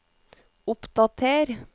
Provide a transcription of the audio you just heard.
oppdater